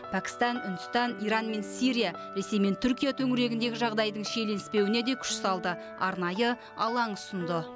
пәкістан үндістан иран мен сирия ресей мен түркия төңірегіндегі жағдайдың шиеленіспеуіне де күш салды арнайы алаң ұсынды